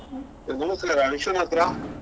ನಮಸ್ಕಾರ ವಿಶ್ವನಾಥ್ರಾ?